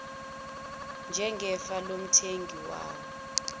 njengefa lomthengi wawo